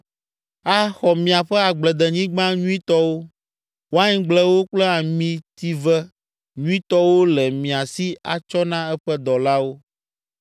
Axɔ miaƒe agbledenyigba nyuitɔwo, waingblewo kple amitive nyuitɔwo le mia si atsɔ na eƒe dɔlawo.